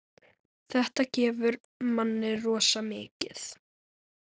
Þetta gefur manni rosa mikið.